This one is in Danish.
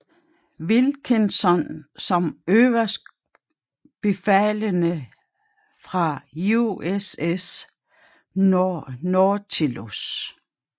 Wilkinson som øverstbefalende på USS Nautilus